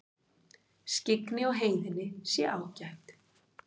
Skyggni á heiðinni sé ágætt